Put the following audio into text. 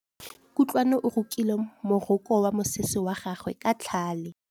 Kutlwanô o rokile morokô wa mosese wa gagwe ka tlhale.